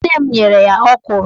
Nne m nyere ya ọkwụrụ